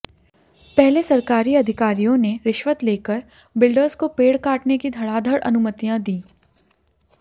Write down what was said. पहले सरकारी अधिकारियों ने रिश्वत लेकर बिल्डर्स को पेड़ काटने धड़ाधड़ अनुमतियां दीं